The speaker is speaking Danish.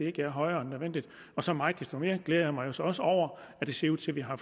ikke er højere end nødvendigt så meget desto mere glæder jeg mig så også over at det ser ud til at vi har